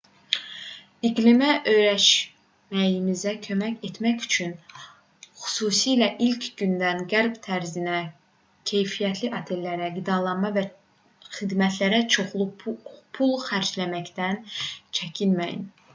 i̇qlimə öyrəşməyinizə kömək etmək üçün xüsusilə ilk günlərdə qərb tərzinə keyfiyyətli otellərə qidalara və xidmətlərə çoxlu pul xərcləməkdən çəkinməyin